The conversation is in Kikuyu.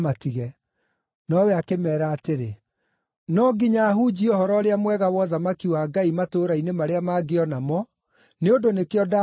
Nowe akĩmeera atĩrĩ, “No nginya hunjie Ũhoro-ũrĩa-Mwega wa ũthamaki wa Ngai matũũra-inĩ marĩa mangĩ o namo, nĩ ũndũ nĩkĩo ndaatũmirwo.”